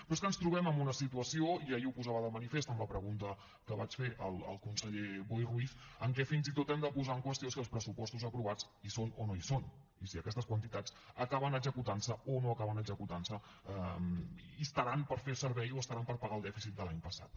però és que ens trobem en una situació i ahir ho posava de manifest amb la pregunta que vaig fer al conseller boi ruiz en què fins i tot hem de posar en qüestió si els pressupostos aprovats hi són o no hi són i si aquestes quantitats acaben executant se o no acaben executant se i estaran per fer servei o estaran per pagar el dèficit de l’any passat